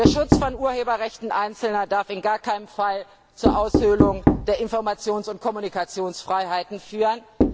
Der Schutz von Urheberrechten Einzelner darf in gar keinem Fall zur Aushöhlung der Informations und Kommunikationsfreiheiten führen.